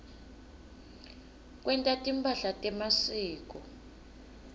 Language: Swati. kwenta timphahla temasiko